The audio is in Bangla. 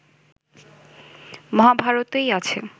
মহাভারতেই আছে